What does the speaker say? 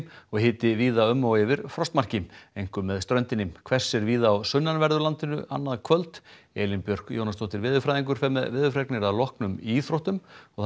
og hiti víða um og yfir frostmarki einkum með ströndinni hvessir víða á sunnanverðu landinu annað kvöld Elín Björk Jónasdóttir veðurfræðingur fer með veðurfregnir að loknum íþróttum